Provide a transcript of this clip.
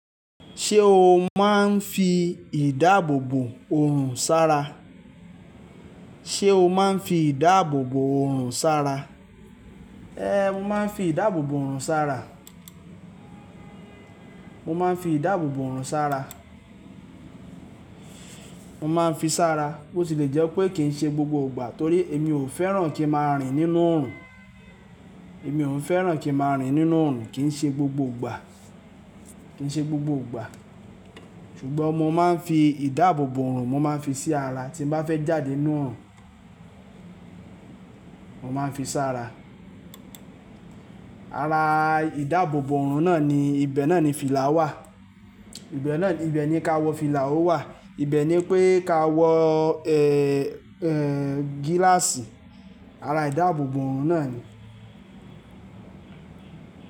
Ṣé o máa ń fi ìdáàbòbò orùn sára? Ṣé o máa ń fi ìdáàbòbò ọrùn sá ra? Ehn, mo máa ń fi ìdáàbòbò ọrùn sá ra. Mo máa ń fi ìdáàbòbò ọrùn sá ra. Mo máa ń fi sára, bó ti lè jẹ́ wipé kì í ṣe gbogbo ìgbà torí èmi ò fẹ́ràn kí ń máa rìn nínú ọrùn. Èmi ò ń fẹ́ràn kí ń máa rìn nínú ọrùn kì í ṣe gbogbo ìgbà, kì í ṣe gbogbo ìgbà. Ṣùgbọ́n mo máa ń fi ìdáàbòbò ọrùn, mo máa ń fi sí ara tí mo bá fẹ́ jáde nínú ọrùn. Mo máa ń fi sá ra. Ara ìdáàbòbò orùn náà ni ibẹ̀ náà ni fìlà wà. Ibẹ̀ náà ni, ibẹ̀ ni ka wọ fìlà ó wà. Ibẹ̀ ni pé ka wọ, gíláàsì. Ara ìdáàbòbò ọrùn náà ni.